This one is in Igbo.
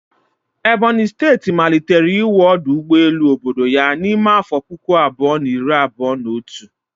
Ebonyi steeti malitere iwu ọdụ ụgbọ elu obodo ya n'ime afọ puku abụọ na iri abụọ na otu